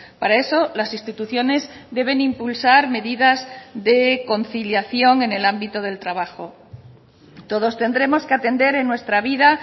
para eso las instituciones deben impulsar medidas de conciliación en el ámbito del trabajo todos tendremos que atender en nuestra vida